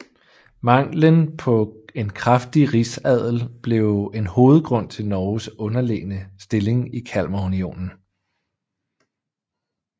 Manglen på en kraftig rigsadel blev en hovedgrund til Norges underlegne stilling i Kalmarunionen